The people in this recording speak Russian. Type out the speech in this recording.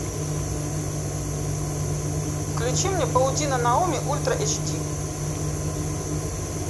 включи мне паутина наоми ультра эйч ди